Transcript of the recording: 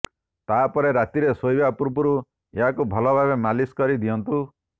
ତାପରେ ରାତିରେ ଶୋଇବା ପୂର୍ବରୁ ଏହାକୁ ଭଲଭାବେ ମାଲିସ କରି ଦିଅନ୍ତୁ